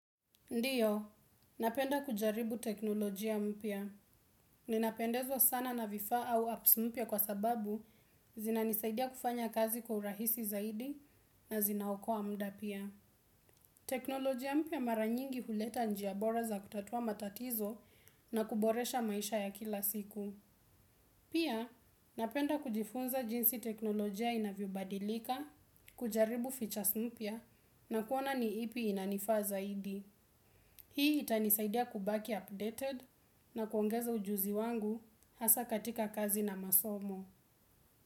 Ndiyo, napenda kujaribu teknolojia mpya. Ninapendezwa sana na vifau au apps mpya kwa sababu zinanisaidia kufanya kazi kwa urahisi zaidi na zinaokoa muda pia. Teknolojia mpya mara nyingi huleta njia bora za kutatua matatizo na kuboresha maisha ya kila siku pia napenda kujifunza jinsi teknolojia inavyo badilika kujaribu features mpya na kuona ni ipi inanifaa zaidi. Hii itanisaidia kubaki updated na kuongeza ujuzi wangu hasa katika kazi na masomo.